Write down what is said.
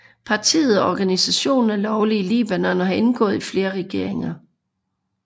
Partiet og organisationen er lovlig i Libanon og har indgået i flere regeringer